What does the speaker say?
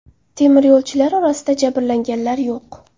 Temir yo‘lchilar orasida jabrlanganlar yo‘q.